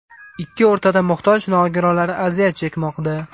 Ikki o‘rtada muhtoj nogironlar aziyat chekmoqda.